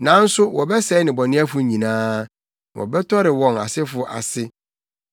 Nanso wɔbɛsɛe nnebɔneyɛfo nyinaa; na wɔbɛtɔre wɔn asefo ase.